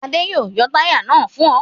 Adé yóò yọ táyà náà fún ọ.